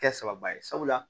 Kɛ sababuba ye sabula